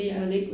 Ja